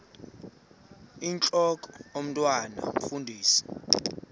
intlok omntwan omfundisi